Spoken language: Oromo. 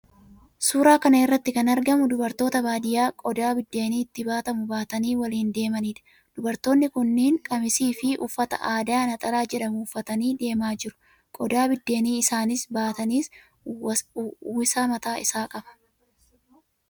Suuraa kana irratti kan argamu dubartoota baadiyyaa qodaa biddeenni itti baatamu baatanii waliin deemaniidha. Dubartoonni kunneen qamisiifi uffata aadaa 'naxalaa' jedhamu uffatanii deemaa jiru. Qodaa biddeenii isaan baatanis uwwisaa mataa isaa qaba.